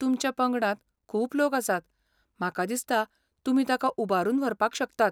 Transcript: तुमच्या पंगडांत खूब लोक आसात, म्हाका दिसता तुमी ताका उबारून व्हरपाक शकतात.